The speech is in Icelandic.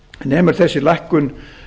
nemur þessi lækkun